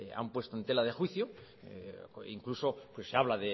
han puesto en tela de juicio incluso pues se habla